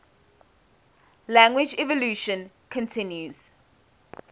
language evolution continues